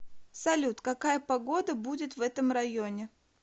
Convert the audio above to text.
салют какая погода будет в этом районе